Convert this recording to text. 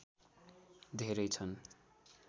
धेरै छन्